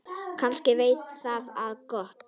Kannski veit það á gott.